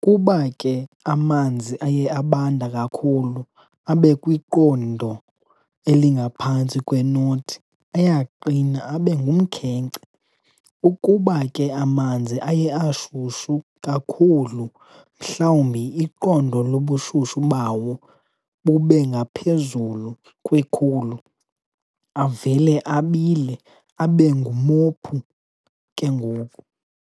Kuba ke amanzi aye abanda kakhulu, abe kwiqondo elingaphantsi kwe-0, ayaqina abe ngumkhenkce. Ukuba ke amanzi aye ashushu kakhulu, mhlawumbi iqondo lobushushu bawo bubengaphezulu kwe-100, avele abile abe ngumophu ke ngoku.